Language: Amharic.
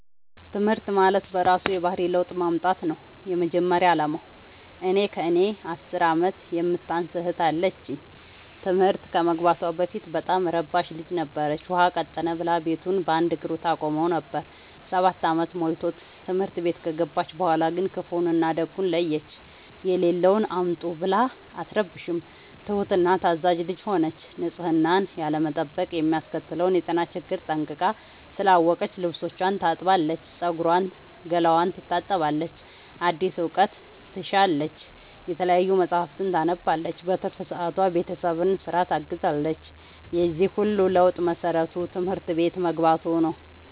ትምህርት ማለት በእራሱ የባህሪ ለውጥ ማምጣት ነው የመጀመሪያ አላማው። እኔ ከእኔ አስር አመት የምታንስ እህት አለችኝ ትምህርት ከመግባቷ በፊት በጣም እረባሽ ልጅ ነበረች። ውሃ ቀጠነ ብላ ቤቱን በአንድ እግሩ ታቆመው ነበር። ሰባት አመት ሞልቶት ትምህርት ቤት ከገባች በኋላ ግን ክፋውን እና ደጉን ለየች። የሌለውን አምጡ ብላ አትረብሽም ትሁት እና ታዛዣ ልጅ ሆነች ንፅህናን ያለመጠበቅ የሚያስከትለውን የጤና ችግር ጠንቅቃ ስላወቀች ልብስቿን ታጥባለች ፀጉሯን ገላዋን ትታጠባለች አዲስ እውቀት ትሻለች የተለያዩ መፀሀፍትን ታነባለች በትርፍ ሰዓቷ ቤተሰብን ስራ ታግዛለች የዚህ ሁሉ ለውጥ መሰረቱ ትምህርት ቤት መግባቶ ነው።